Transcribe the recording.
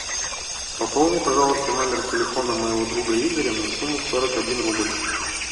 пополни пожалуйста номер телефона моего друга игоря на сумму сорок один рубль